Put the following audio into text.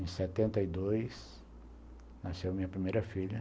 Em setenta e dois, nasceu a minha primeira filha.